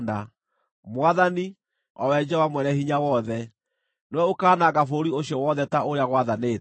Mwathani, o we Jehova Mwene-Hinya-Wothe, nĩwe ũkaananga bũrũri ũcio wothe ta ũrĩa gwathanĩtwo.